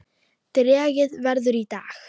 Dregið verður í dag.